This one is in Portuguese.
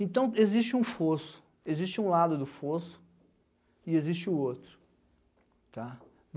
Então existe um fosso, existe um lado do fosso e existe o outro, tá